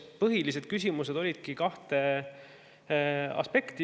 Põhilised küsimused puudutasid kahte aspekti.